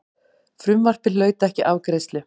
Frumvarpið hlaut ekki afgreiðslu.